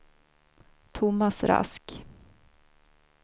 Thomas Rask